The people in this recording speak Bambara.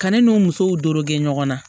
Kanni n'u musow doro ge ɲɔgɔn na